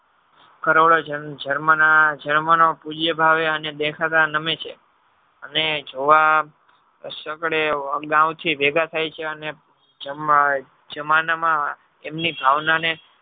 કરોડો germany ખુળીયે ભાવે અને દેખાતા નમે છે અને જોવા ગૌ થી ભેગા થઈ છે અને જમાના માં એમી ભાવના ને